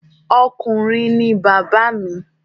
Ọkùnrin ni bàbá mi